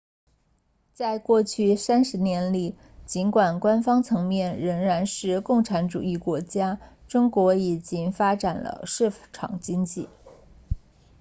在过去三十年里尽管官方层面仍然是个共产主义国家中国已经发展了市场经济